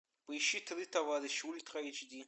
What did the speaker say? поищи три товарища ультра эйч ди